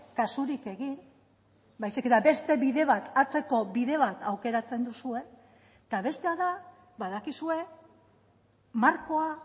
kasurik egin baizik eta beste bide bat atzeko bide bat aukeratzen duzue eta bestea da badakizue markoa